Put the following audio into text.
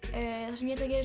það sem ég